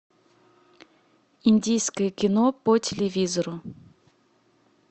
индийское кино по телевизору